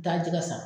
Taa jɛgɛ san